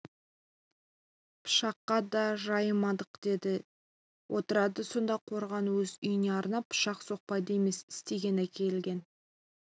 пышаққа да жайымадық дейді де отырады сонда қорған өз үйіне арнап пышақ соқпайды емес істеп әкелген